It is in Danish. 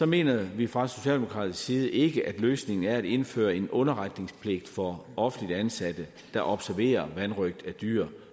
mener vi fra socialdemokratisk side ikke at løsningen er at indføre en underretningspligt for offentligt ansatte der observerer vanrøgt af dyr